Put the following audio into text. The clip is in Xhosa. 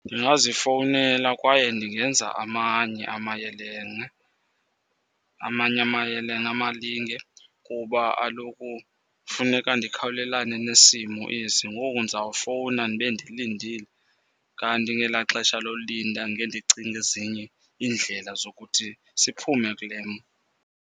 Ndingazifowunela kwaye ndingenza amanye amayelenqe. Amanye amayelenqe amalinge. Kuba kaloku funeka ndikhawulelane nesimo esi. Ngoku ndizawufowuna ndibe ndilindile, kanti ngela xesha lolinda ngendicinga ezinye iindlela zokuthi siphume kule mo.